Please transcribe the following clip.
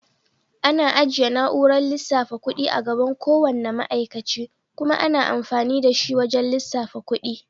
Ana ajiye na'urar lissafa kuɗi a gaban ko wanna ma'aikace kuma ana amfani da shi wajan lissafa kuɗi.